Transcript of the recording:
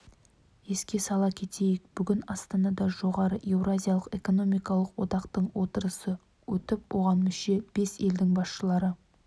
еске сала кетейік бүгін астанада жоғары еуразиялық экономикалық одақтың отырысы өтіп оған мүше бес елдің басшылары